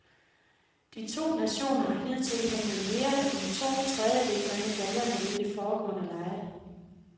De to nationer har hidtil hentet mere end to tredjedele af medaljerne ved de foregående lege.